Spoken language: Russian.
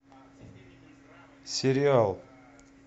сериал